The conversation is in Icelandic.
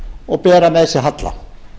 og bera með sér halla